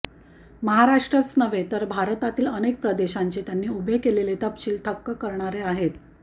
महाराष्ट्रच नव्हे तर भारतातील अनेक प्रदेशांचे त्यांनी उभे केलेले तपशील थक्क करणारे आहेत